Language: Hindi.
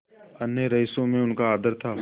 अन्य रईसों में उनका आदर था